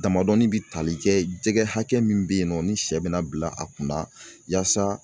Damadɔni bɛ tali kɛ jɛgɛ hakɛ min bɛ yen nɔ ni sɛ bɛ na bila a kunna yasa